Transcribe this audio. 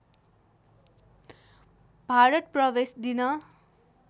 भारत प्रवेश दिन